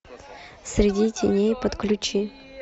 среди теней подключи